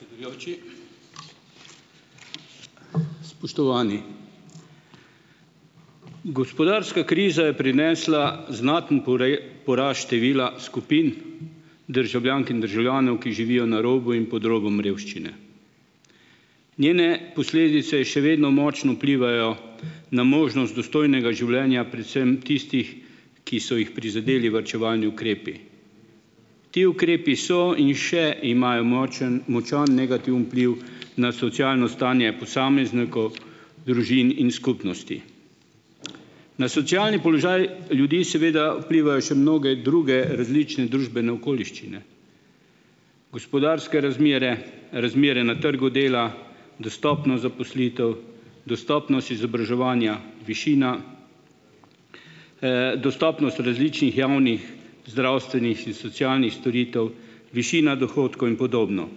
Hvala, predsedujoči. Spoštovani! Gospodarska kriza je prinesla znaten porast števila skupin državljank in državljanov, ki živijo na robu in pod robom revščine. Njene posledice še vedno močno vplivajo na možnost dostojnega življenja predvsem tistih, ki so jih prizadeli varčevalni ukrepi. Ti ukrepi so in še imajo močno, močan negativen vpliv na socialno stanje posameznikov, družin in skupnosti. Na socialni položaj ljudi, seveda, vplivajo še mnoge druge različne družbene okoliščine, gospodarske razmere, razmere na trgu dela, dostopnost zaposlitev, dostopnost izobraževanja, višina, dostopnost različnih javnih zdravstvenih socialnih storitev, višina dohodkov in podobno.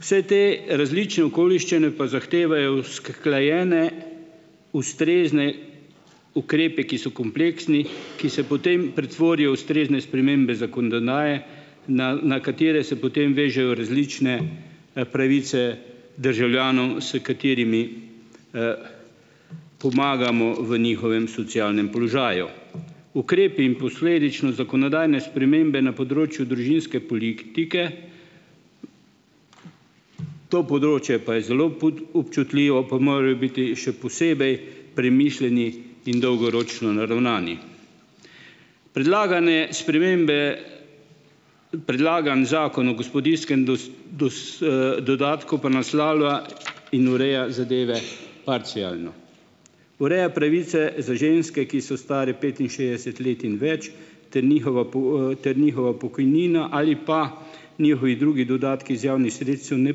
Vse te različne okoliščine pa zahtevajo usklajene, ustrezne ukrepe, ki so kompleksni, ki se potem pretvorijo v ustrezne spremembe zakonodaje, na, na katere se potem vežejo različne, pravice državljanom, s katerimi, pomagamo v njihovem socialnem položaju. Ukrepi in posledično zakonodajne spremembe na področju družinske politike, to področje pa je zelo občutljivo, pa morajo biti še posebej premišljeni in dolgoročno naravnani. Predlagane spremembe ... Predlagani Zakon o gospodinjskem dodatku pa naslavlja in ureja zadeve parcialno. Ureja pravice za ženske, ki so stare petinšestdeset let in več, ter njihova po, ter njihova pokojnina ali pa njihovi drugi dodatki iz javnih sredstev ne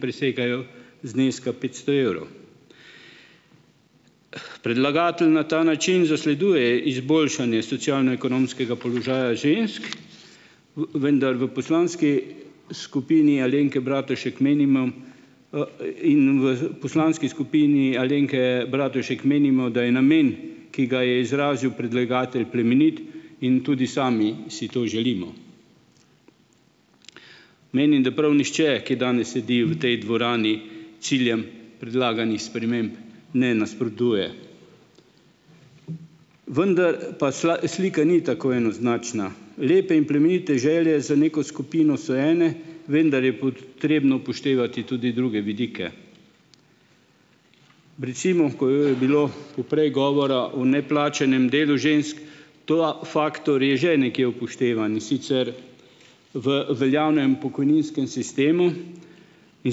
presegajo zneska petsto evrov. Predlagatelj na ta način zasleduje izboljšanje socialno-ekonomskega položaja žensk, vendar v poslanski skupini Alenke Bratušek menimo, in v poslanski skupini Alenke Bratušek menimo, da je namen, ki ga je izrazil predlagatelj, plemenit, in tudi sami si to želimo. Menim, da prav nihče, ki danes sedi v tej dvorani, ciljem predlaganih sprememb ne nasprotuje. Vendar pa slika ni tako enoznačna. Lepe in plemenite želje za neko skupino so ene, vendar pa je potrebno upoštevati tudi druge vidike. Recimo, ko je bilo poprej govora o neplačanem delu žensk, ta faktor je že nekje upoštevan, in sicer v veljavnem pokojninskem sistemu, in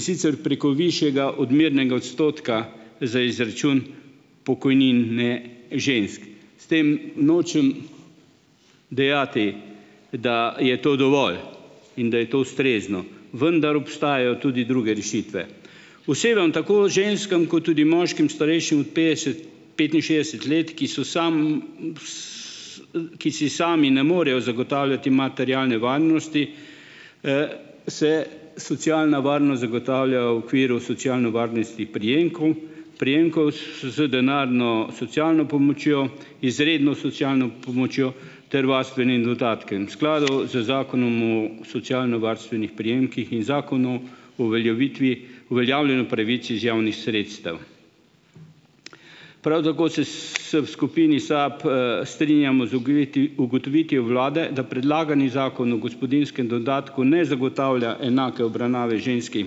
sicer preko višjega odmernega odstotka za izračun pokojnine žensk. S tem nočem dejati, da je to dovolj in da je to ustrezno, vendar obstajajo tudi druge rešitve. Osebam, tako ženskam kot tudi moškim, starejšim od petdeset, petinšestdeset let, ki so samo, ki si sami ne morejo zagotavljati materialne varnosti, se socialna varnost zagotavlja v okviru socialne varnosti prejemku, prejemkov, z denarno socialno pomočjo, izredno socialno pomočjo ter varstvenim dodatkom v skladu z Zakonom o socialnovarstvenih prejemkih in Zakonu o uveljavitvi, uveljavljanju pravic iz javnih sredstev. Prav tako se, se v skupini SAB, strinjamo z ugotovitvijo vlade, da predlagani Zakon o gospodinjskem dodatku ne zagotavlja enake obravnave žensk in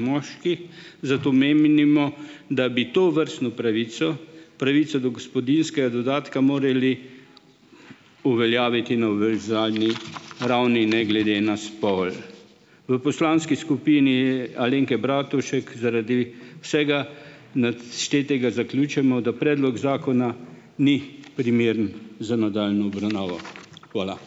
moških, zato menimo, da bi tovrstno pravico, pravico do gospodinjskega dodatka morali uveljaviti na univerzalni ravni, ne glede na spol. V poslanski skupini, Alenke Bratušek zaradi vsega naštetega zaključimo, da predlog zakona ni primeren za nadaljnjo obravnavo. Hvala.